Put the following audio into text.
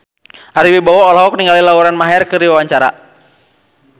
Ari Wibowo olohok ningali Lauren Maher keur diwawancara